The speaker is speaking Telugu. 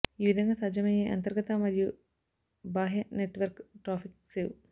ఈ విధంగా సాధ్యమయ్యే అంతర్గత మరియు బాహ్య నెట్వర్క్ ట్రాఫిక్ సేవ్